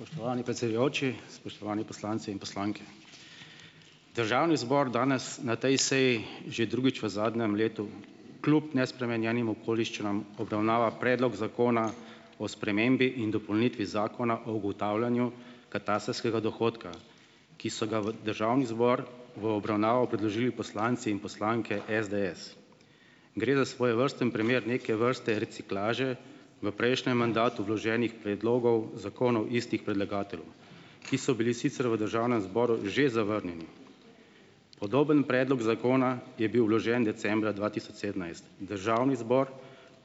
Spoštovani predsedujoči, spoštovani poslanci in poslanke. Državni zbor danes na tej seji že drugič v zadnjem letu kljub nespremenjenim okoliščinam obravnava predlog zakona o spremembi in dopolnitvi zakona o ugotavljanju katastrskega dohodka, ki so ga v državni zbor v obravnavo predložili poslanci in poslanke SDS. Gre za svojevrsten primer neke vrste reciklaže v prejšnjem mandatu vloženih predlogov zakonov istih predlagateljev, ki so bili sicer v državnem zboru že zavrnjeni. Podoben predlog zakona je bil vložen decembra dva tisoč sedemnajst, državni zbor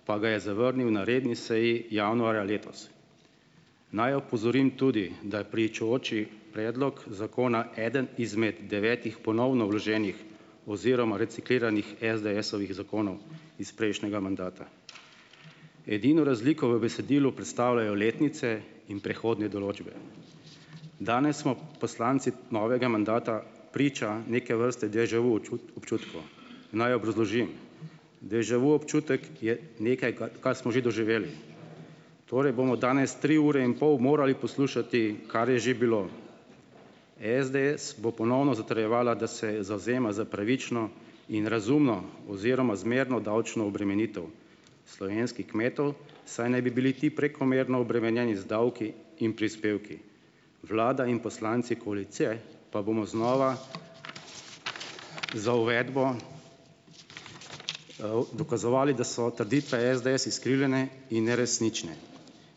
pa ga je zavrnil na redni seji januarja letos. Naj opozorim tudi, da je pričujoči predlog zakona eden izmed devetih ponovno vloženih oziroma recikliranih SDS-ovih zakonov iz prejšnjega mandata. Edino razliko v besedilu predstavljajo letnice in prehodne določbe. Danes smo poslanci novega mandata priča neke vrste deja vu občutku. Naj obrazložim. deja vu občutek je nekaj, kar smo že doživeli, torej bomo danes tri ure in pol morali poslušati, kar je že bilo. SDS bo ponovno zatrjevala, da se zavzema za pravično in razumno oziroma zmerno davčno obremenitev slovenskih kmetov, saj naj bi bili ti prekomerno obremenjeni z davki in prispevki. Vlada in poslanci koalicije pa bomo znova za uvedbo dokazovali, da so trditve SDS izkrivljene in neresnične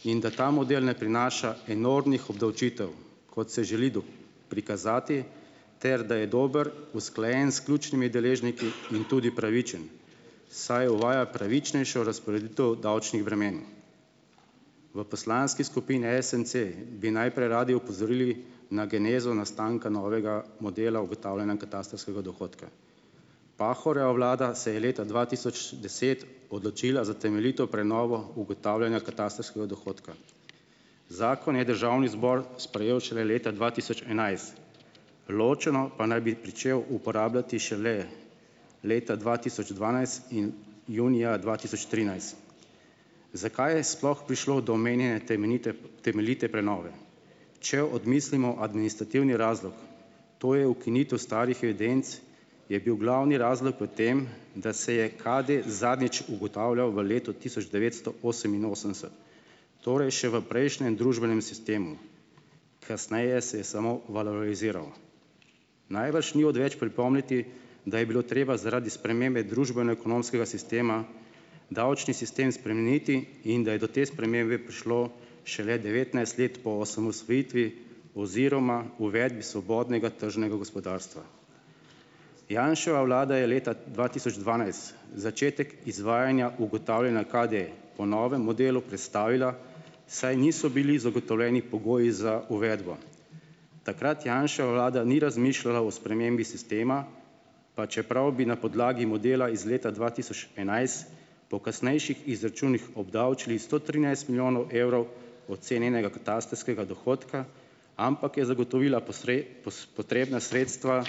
in da ta model ne prinaša enormnih obdavčitev, kot se želi prikazati, ter da je dober, usklajen s ključnimi deležniki in tudi pravičen, saj uvaja pravičnejšo razporeditev davčnih bremen. V poslanski skupini SMC bi najprej radi opozorili na genezo nastanka novega modela ugotavljanja katastrskega dohodka. Pahorjeva vlada se je leta dva tisoč deset odločila za temeljito prenovo ugotavljanja katastrskega dohodka. Zakon je državni zbor sprejel šele leta dva tisoč enajst, ločeno pa naj bi pričel uporabljati šele leta dva tisoč dvanajst in junija dva tisoč trinajst. Zakaj je sploh prišlo do omenjene temenjite, temeljite prenove? Če odmislimo administrativni razlog, to je ukinitev starih evidenc, je bil glavni razlog v tem, da se je KD zadnjič ugotavljal v letu tisoč devetsto oseminosemdeset. Torej še v prejšnjem družbenem sistemu. Kasneje se je samo valoriziral. Najbrž ni odveč pripomniti, da je bilo treba zaradi spremembe družbeno-ekonomskega sistema, davčni sistem spremeniti in da je do te spremembe prišlo šele devetnajst let po osamosvojitvi oziroma uvedbi svobodnega tržnega gospodarstva. Janševa vlada je leta dva tisoč dvanajst začetek izvajanja ugotavljanja KD po novem modelu prestavila, saj niso bili zagotovljeni pogoji za uvedbo. Takrat Janševa vlada ni razmišljala o spremembi sistema, pa čeprav bi na podlagi modela iz leta dva tisoč enajst, po kasnejših izračunih obdavčili sto trinajst milijonov evrov ocenjenega katastrskega dohodka, ampak je zagotovila potrebna sredstva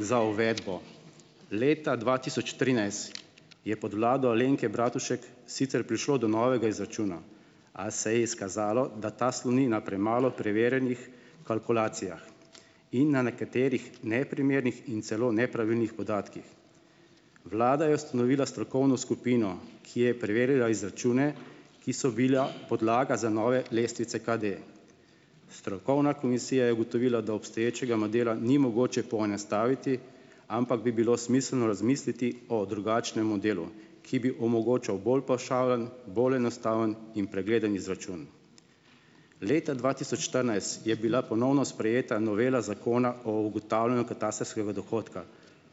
za uvedbo. Leta dva tisoč trinajst je pod vlado Alenke Bratušek sicer prišlo do novega izračuna, a se je izkazalo, da ta sloni na premalo preverjenih kalkulacijah in na nekaterih neprimernih in celo nepravilnih podatkih. Vlada je ustanovila strokovno skupino, ki je preverila izračune, ki so bila podlaga za nove lestvice KD. Strokovna komisija je ugotovila, da obstoječega modela ni mogoče poenostaviti, ampak bi bilo smiselno razmisliti o drugačnem modelu, ki bi omogočal bolj pavšalen, bolj enostaven in pregleden izračun. Leta dva tisoč štirinajst je bila ponovno sprejeta novela zakona o ugotavljanju katastrskega dohodka,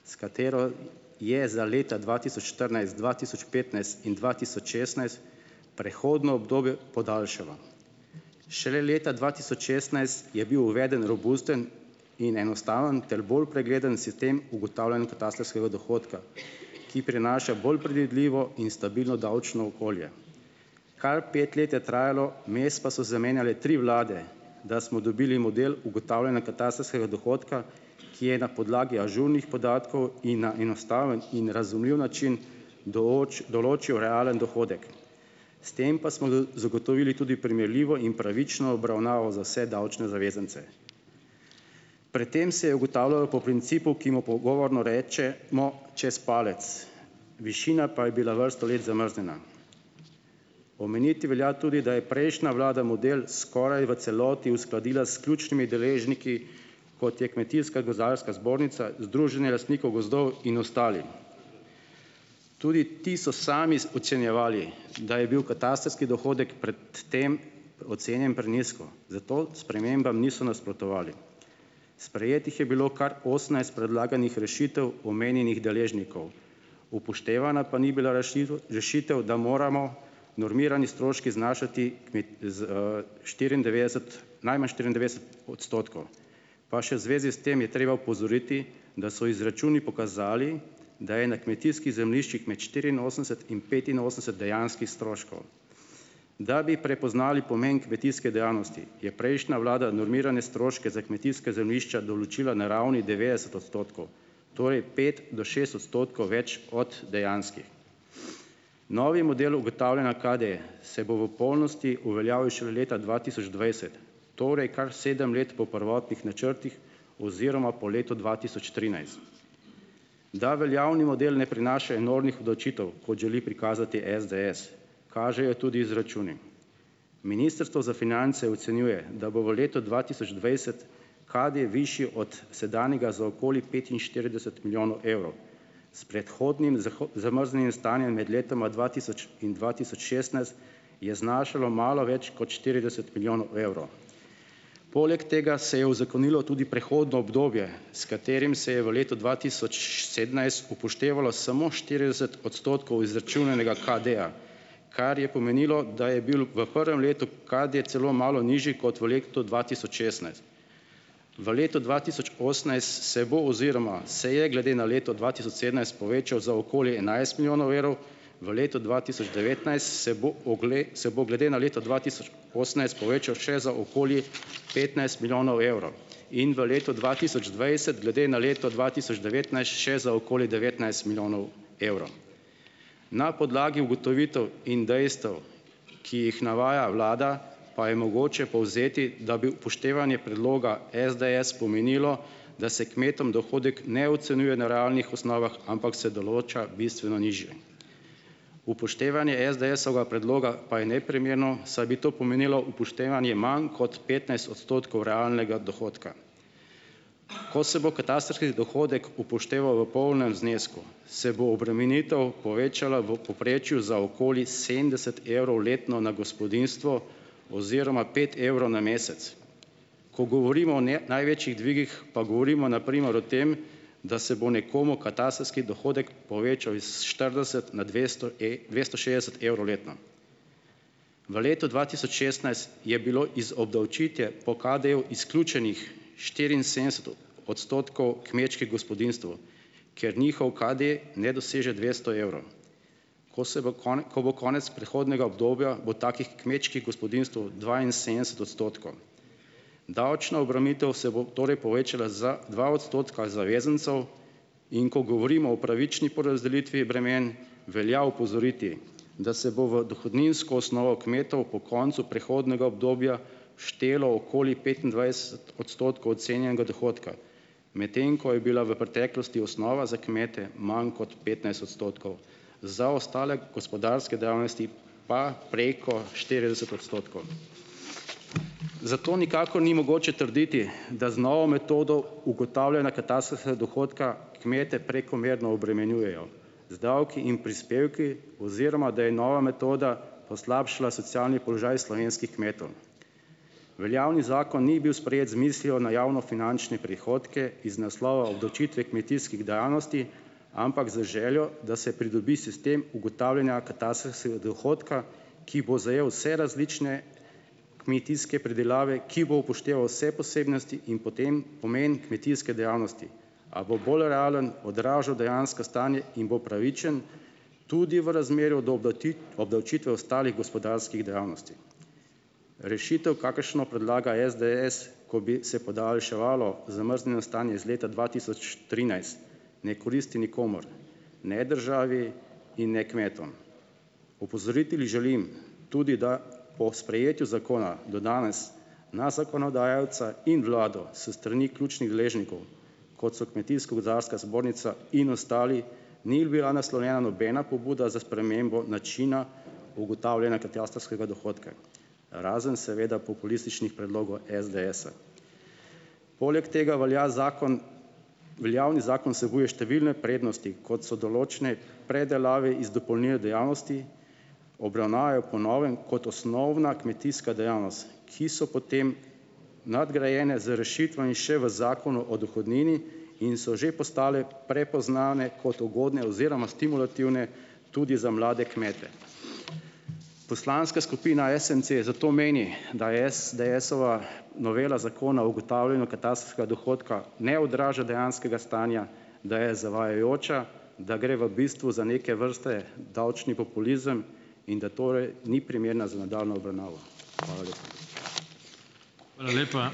s katero je za leta dva tisoč štirinajst, dva tisoč petnajst in dva tisoč šestnajst prehodno obdobje podaljšala. Šele leta dva tisoč šestnajst je bil uveden robusten in enostaven ter bolj pregleden sistem ugotavljanja katastrskega dohodka, ki prinaša bolj predvidljivo in stabilno davčno okolje. Kar pet let je trajalo, vmes pa so zamenjale tri vlade, da smo dobili model ugotavljanja katastrskega dohodka, ki je na podlagi ažurnih podatkov in na enostaven in razumljiv način določil realen dohodek. S tem pa smo zagotovili tudi primerljivo in pravično obravnavo za vse davčne zavezance. Pred tem se je ugotavljalo po principu, ki mu pogovorno rečemo čez palec, višina pa je bila vrsto let zamrznjena. Omeniti velja tudi, da je prejšnja vlada model skoraj v celoti uskladila s ključnimi deležniki, kot je Kmetijska gozdarska zbornica, Združenje lastnikov gozdov in ostali. Tudi ti so sami ocenjevali, da je bil katastrski dohodek pred tem ocenjen prenizko, zato spremembam niso nasprotovali. Sprejetih je bilo kar osemnajst predlaganih rešitev omenjenih deležnikov, upoštevana pa ni bila rešitev, da moramo normirane stroške znašati najmanj štiriindevetdeset odstotkov. Pa še v zvezi s tem je treba opozoriti, da so izračuni pokazali, da je na kmetijskih zemljiščih med štiriinosemdeset in petinosemdeset dejanskih stroškov. Da bi prepoznali pomen kmetijske dejavnosti je prejšnja vlada normirane stroške za kmetijska zemljišča določila na ravni devetdeset odstotkov. Torej pet do šest odstotkov več od dejanskih. Novi model ugotavljanja KD se bo v polnosti uveljavil šele leta dva tisoč dvajset, torej kar sedem let po prvotnih načrtih oziroma po letu dva tisoč trinajst. Da veljavni model ne prinaša enormnih obdavčitev, kot želi prikazati SDS, kažejo tudi izračuni. Ministrstvo za finance ocenjuje, da bo v letu dva tisoč dvajset KD višji od sedanjega za okoli petinštirideset milijonov evrov. S predhodnim zamrznjenim stanjem med letoma dva tisoč in dva tisoč šestnajst je znašalo malo več kot štirideset milijonov evrov. Poleg tega se je uzakonilo tudi prehodno obdobje, s katerim se je v letu dva tisoč sedemnajst upoštevalo samo štirideset odstotkov izračunanega KD-ja, kar je pomenilo, da je bil v prvem letu KD celo malo nižji, kot v letu dva tisoč šestnajst V letu dva tisoč osemnajst se bo oziroma se je glede na leto dva tisoč sedemnajst povečal za okoli enajst milijonov evrov, v letu dva tisoč devetnajst se bo se bo glede na leto dva tisoč osemnajst povečal še za okoli petnajst milijonov evrov in v letu dva tisoč dvajset glede na leto dva tisoč devetnajst še za okoli devetnajst milijonov evrov. Na podlagi ugotovitev in dejstev, ki jih navaja vlada, pa je mogoče povzeti, da bi upoštevanje predloga SDS pomenilo, da se kmetom dohodek ne ocenjuje na realnih osnovah, ampak se določa bistveno nižje. Upoštevanje SDS-ovga predloga pa je neprimerno, saj bi to pomenilo upoštevanje manj kot petnajst odstotkov realnega dohodka. Ko se bo katastrski dohodek upošteval v polnem znesku, se obremenitev povečala v povprečju za okoli sedemdeset evrov letno na gospodinjstvo oziroma pet evrov na mesec. Ko govorimo o ne največjih dvigih, pa govorimo na primer o tem, da se bo nekomu katastrski dohodek povečal is štirideset na e dvesto šestdeset evrov letno. V letu dva tisoč šestnajst je bilo iz obdavčitve o KD-ju izključenih štiriinsedemdeset odstotkov kmečkih gospodinjstev, ker njihov KD ne doseže dvesto evrov. Ko se bo ko bo konec prehodnega obdobja, bo takih kmečkih gospodinjstev dvainsedemdeset odstotkov. Davčna obremenitev se bo torej povečala za dva odstotka zavezancev, in ko govorimo o pravični porazdelitvi bremen, velja opozoriti, da se bo v dohodninsko osnovo kmetov po koncu prehodnega obdobja štelo okoli petindvajset ocenjenega dohodka, medtem ko je bila v preteklosti osnova za kmete manj kot petnajst odstotkov. Za ostale gospodarske dejavnosti pa preko štirideset odstotkov. Zato nikakor ni mogoče trditi, da z novo metodo ugotavljanja katastrskega dohodka kmete prekomerno obremenjujejo z davki in prispevki oziroma da je nova metoda poslabšala socialni položaj slovenskih kmetov. Veljavni zakon ni bil sprejet z mislijo na javnofinančne prihodke iz naslova obdavčitve kmetijskih dejavnosti, ampak z željo, da se pridobi sistem ugotavljanja katastrskega dohodka, ki bo zajeli vse različne kmetijske pridelave, ki bo upošteval vse posebnosti in potem pomen kmetijske dejavnosti. A bo bolj realno odražal dejansko stanje in bo pravičen tudi v razmerju do obdavčitve ostalih gospodarskih dejavnosti. Rešitev kakršno predlaga SDS, ko bi se podaljševalo zamrznjeno stanje iz leta dva tisoč trinajst, ne koristi nikomur, ne državi in ne kmetom. Opozoriti želim tudi, da o sprejetju zakona do danes na zakonodajalca in vlado s strani ključnih deležnikov, kot so kmetijsko-gozdarska zbornica in ostali, ni bila naslovljena nobena pobuda za spremembo načina ugotavljanja katastrskega dohodka, razen seveda populističnih predlogov SDS-a. Poleg tega velja zakon, veljavni zakon vsebuje številne prednosti, kot so določne predelave iz dopolnilnih dejavnosti, obravnave po novem kot osnovna kmetijska dejavnost, ki so potem nadgrajene z rešitvami še v zakonu o dohodnini in so že postale prepoznane kot ugodne oziroma stimulativne tudi za mlade kmete. Poslanska skupina SMC zato meni, da SDS-ova novela zakona ugotavljanju katastrskega dohodka ne odraža dejanskega stanja, da je zavajajoča, da gre v bistvu za neke vrste davčni populizem, in da torej ni primerna za nadaljnjo obravnavo. Hvala lepa.